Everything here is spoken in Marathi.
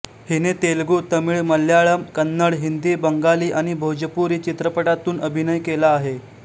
हिने तेलुगू तमिळ मल्याळम कन्नड हिंदी बंगाली आणि भोजपुरी चित्रपटांतून अभिनय केला आहे